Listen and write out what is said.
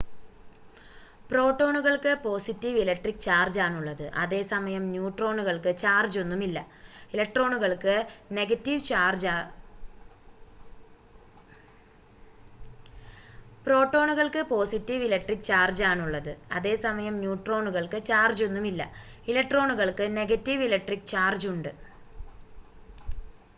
പ്രോട്ടോണുകൾക്ക് positive electric ചാർജാണുള്ളത് അതേസമയം ന്യൂട്രോണുകൾക്ക് ചാർജൊന്നും ഇല്ല ഇലക്ട്രോണുകൾക്ക് നെഗറ്റീവ് ഇലക്‌ട്രിക്ക് ചാർജ് ഉണ്ട്